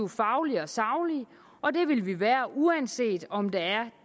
faglige og saglige og det vil vi være uanset om der er